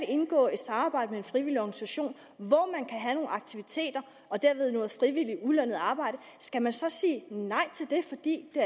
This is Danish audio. indgå et samarbejde med en frivillig organisation og have nogle aktiviteter og derved noget frivilligt ulønnet arbejde skal man så sige nej til det